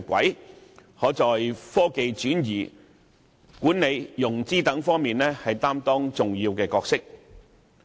因此，香港可在科技轉移、管理融資等方面擔當重要角色。